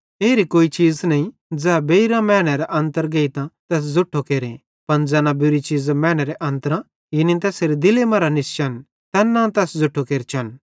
एरी कोई चीज़ नईं ज़ै बेइरेरां मैनेरे अन्तर गेइतां तैस ज़ुट्ठो केरे पन ज़ैना बुरी चीज़ां मैनेरे अन्त्रां यानी तैसेरे दिले मरां बेइर निस्चन तैन्नां तैस ज़ुट्ठो केरचन